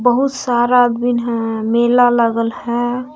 वो सारा आदमीन हैं मेला लागल है।